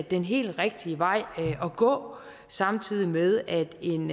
den helt rigtige vej at gå samtidig med at en